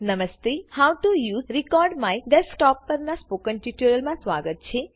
નમસ્તે how to use recordMyDesktopપરના આ ટ્યુટોરીયલમાં સ્વાગત છે